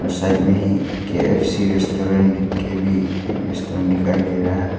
Side में ही KFC restaurant लिख के भी एक रेस्टोरेंट दिखाई दे रहा है।